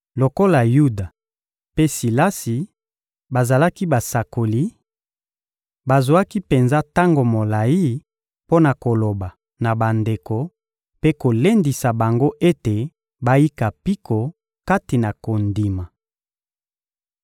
Lokola Yuda mpe Silasi bazalaki basakoli, bazwaki penza tango molayi mpo na koloba na bandeko mpe kolendisa bango ete bayika mpiko kati na kondima.